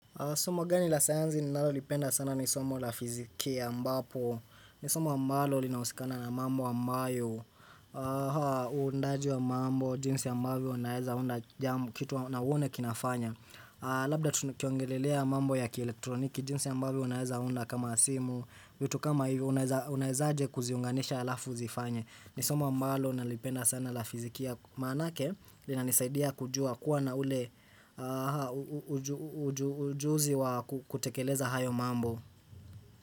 Somo gani la sayanzi ninalolipenda sana ni somo la fizikia ambapo ni somo ambalo linahusikana na mambo ambayo Uundaji wa mambo, jinsi ya ambavyo unaweza unda jam kitu na uone kinafanya Labda tukiongelelea mambo ya kieletroniki, jinsi ambavyo unaweza unda kama simu, vitu kama hivyo, unaweza unawezaaje kuziunganisha halafu zifanye. Ni somo ambalo nalipenda sana la fizikia manake linanisaidia kujua kuwa na ule ujuzi wa kutekeleza hayo mambo.